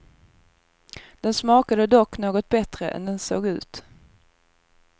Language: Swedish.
Den smakade dock något bättre än den såg ut.